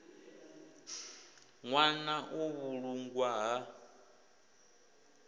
ḽwa na u vhulungwa ha